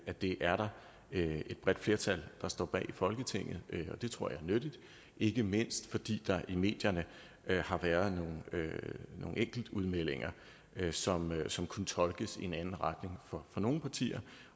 at det er der et bredt flertal der står bag i folketinget og det tror jeg er nyttigt ikke mindst fordi der i medierne har været nogle enkelte udmeldinger som som kunne tolkes i en anden retning fra nogle partier